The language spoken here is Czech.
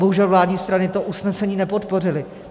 Bohužel vládní strany to usnesení nepodpořily.